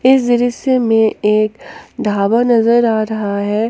इस दृश्य में एक ढाबा नजर आ रहा है।